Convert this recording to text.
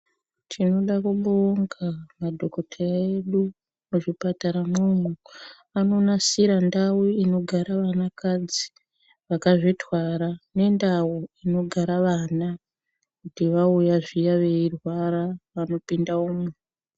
Tinoda kubonga madhokodheya edu muzvipatara mwomwo anonasire ndau inogara vanakadzi vakazvitwara nendau inogara vana kuti vauya zviya veirwara vanopinda umwo.